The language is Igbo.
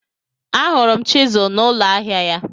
Ahụrụ m chizụl n'ụlọ ahịa ya.